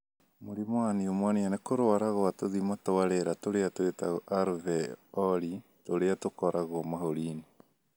Mũrimũ wa pneumonia nĩ kũrũara kwa tũthima twa rĩera tũrĩa twĩtagwo alveoli tũrĩa tũkoragwo mahũri-inĩ